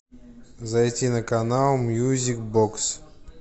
зайти на канал мьюзик бокс